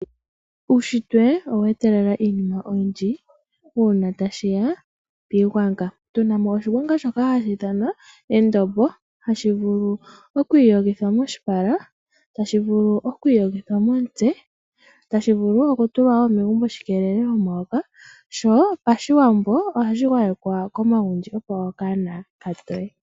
Uushitwe owa etelela iinima oyindji uuna tashi ya piigwanga, tunamo oshigwanga shoka hashi ithanwa endombo. Hashi vulu oku iyogithwa moshipala, tasi vuu oku iyogithwa momutse. Tashi vulu wo okutulwa megumbo shi keelele omayoka, sho paShiwambo ohashi gwayekwa komagundji opo okanona ka toye.